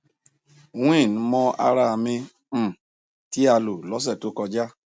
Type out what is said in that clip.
wean mọ ara mi um ti a lo lọse to koja